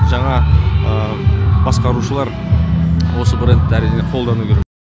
жаңа басқарушылар осы брендті әрине қолдану керек